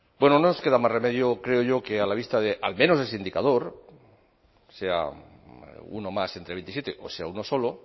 bueno no nos queda más remedio creo yo que a la vista de al menos ese indicador sea uno más entre veintisiete o sea uno solo